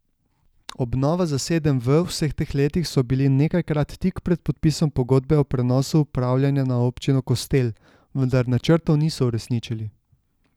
Obnova za sedem V vseh teh letih so bili nekajkrat tik pred podpisom pogodbe o prenosu upravljanja na občino Kostel, vendar načrtov niso uresničili.